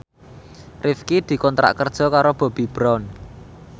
Rifqi dikontrak kerja karo Bobbi Brown